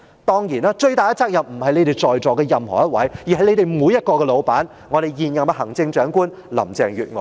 當然，最大責任不是在席的任何一位，而是你們的老闆——現任行政長官林鄭月娥。